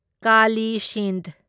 Kali Sindh